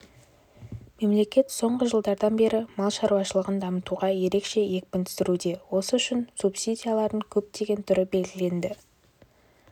мемлекет соңғы жылдардан бері мал шаруашылығын дамытуға ерекше екпін түсіруде осы үшін субсидиялардың көптеген түрі белгіленді